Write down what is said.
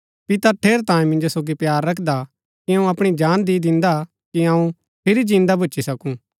पिता ठेरैतांये मिन्जो सोगी प्‍यार रखदा कि अऊँ अपणी जान दी दिन्दा कि अऊँ फिरी जिन्दा भूच्ची सकूँ